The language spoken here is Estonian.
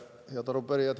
Head arupärijad!